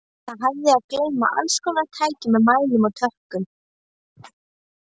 Það hafði að geyma allskonar tæki með mælum og tökkum.